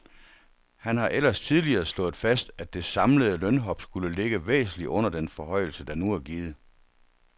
Han har ellers tidligere slået fast, at det samlede lønhop skulle ligge væsentligt under den forhøjelse, der nu er givet.